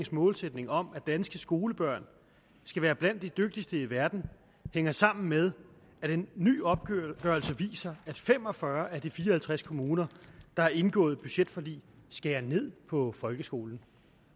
målsætning om at danske skolebørn skal være blandt de dygtigste i verden hænger sammen med at en ny opgørelse viser at fem og fyrre af de fire og halvtreds kommuner der har indgået budgetforlig skærer ned på folkeskolen